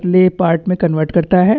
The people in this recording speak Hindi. ले पार्ट में कन्वर्ट करता है।